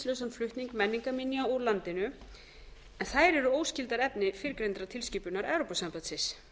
hindrað eftirlitslausan flutning menningarminja úr landinu en þær eru óskyldar efni fyrrgreindrar tilskipunar evrópusambandsins